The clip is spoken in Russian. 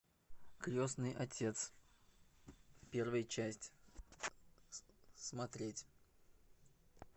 крестный отец первая часть смотреть